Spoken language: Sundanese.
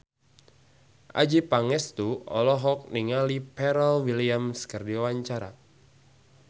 Adjie Pangestu olohok ningali Pharrell Williams keur diwawancara